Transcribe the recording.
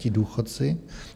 Ti důchodci?